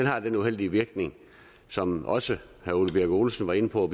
har den uheldige virkning som også herre ole birk olesen var inde på